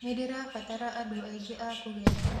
Nĩndĩrabatara andũ aingĩ a kũgetha